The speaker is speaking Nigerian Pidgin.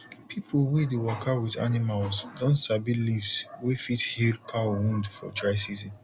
pipo wey dey waka with animals don sabi leaves wey fit heal cow wound for dry season